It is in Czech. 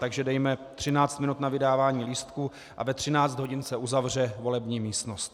Takže dejme 13 minut na vydávání lístků a ve 13 hodin se uzavře volební místnost.